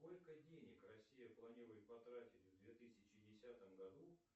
сколько денег россия планирует потратить в две тысячи десятом году